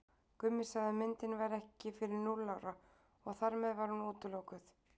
Gummi sagði að myndin væri ekki fyrir núll ára og þar með var hún útilokuð.